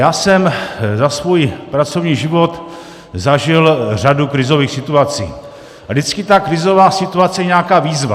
Já jsem za svůj pracovní život zažil řadu krizových situací a vždycky ta krizová situace je nějaká výzva.